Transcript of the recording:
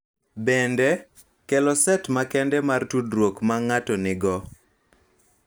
Bende, kelo set makende mar tudruok ma ng�ato nigo.